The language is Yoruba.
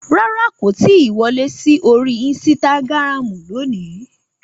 Rárá, kò tí ì wọlé sí orí Instagram lónìí